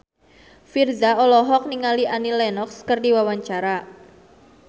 Virzha olohok ningali Annie Lenox keur diwawancara